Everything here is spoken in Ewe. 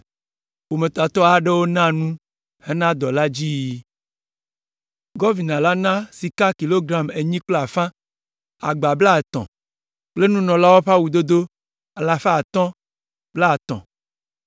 Ƒometatɔ aɖewo na nu hena dɔ la dziyiyi. Gɔvina la na sika kilogram enyi kple afã, agba blaatɔ̃ kple nunɔlawo ƒe awudodo alafa atɔ̃ blaetɔ̃ (530).